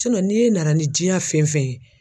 n'e nana ni diɲɛ fɛn fɛn ye